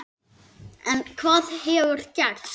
En hvað hefur gerst?